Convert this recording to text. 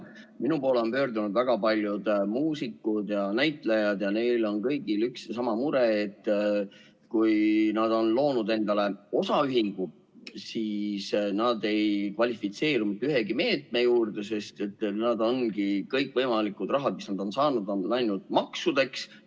Minu poole on pöördunud väga paljud muusikud ja näitlejad ja neil on kõigil üks ja sama mure, et kui nad on loonud endale osaühingu, siis nad ei kvalifitseeru mitte ühegi meetme saajaks, sest kõikvõimalikud rahad, mis nad on saanud, on läinud maksudeks.